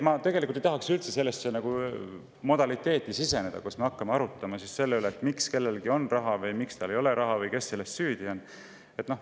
Ma tegelikult ei tahaks üldse sellesse modaliteeti siseneda, et me hakkame arutama, miks kellelgi on raha või miks tal ei ole raha või kes selles süüdi on.